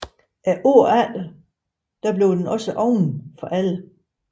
Året efter blev den gjort åben for alle